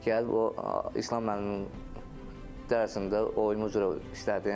Gəlib o İslam müəllimin dərsində oyma üzrə işlədim.